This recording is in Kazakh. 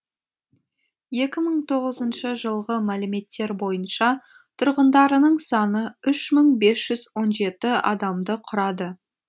екі мың тоғызыншы жылғы мәліметтер бойынша тұрғындарының саны үш мың бес жүз он жеті адамды құрады